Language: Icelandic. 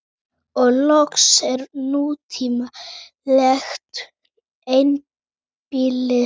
Og loks er nútímalegt einbýlishús.